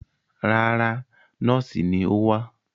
Rárá, nọ́ọ́sì ni ó wá.